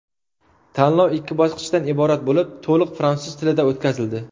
Tanlov ikki bosqichdan iborat bo‘lib, to‘liq fransuz tilida o‘tkazildi.